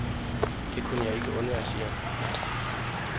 Det kunne jeg ikke undvære, siger han.